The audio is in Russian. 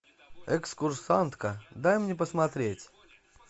экскурсантка дай мне посмотреть